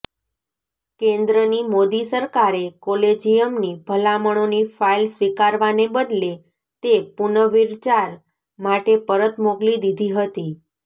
કેન્દ્રની મોદી સરકારે કોલેજિયમની ભલામણોની ફાઈલ સ્વીકારવાને બદલે તે પુનર્વિચાર માટે પરત મોકલી દીધી હતી